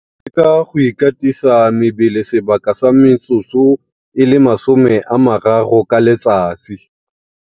Go leka go ikatisa mebele sebaka sa metsotso e le 30 ka letsatsi.